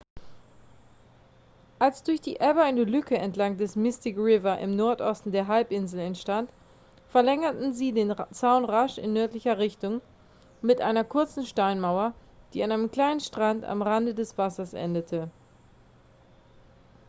als durch die ebbe eine lücke entlang des mystic river im nordosten der halbinsel entstand verlängerten sie den zaun rasch in nördlicher richtung mit einer kurzen steinmauer die an einem kleinen strand am rande des wassers endete